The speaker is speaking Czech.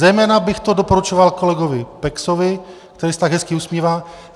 Zejména bych to doporučoval kolegovi Pexovi, který se tak hezky usmívá.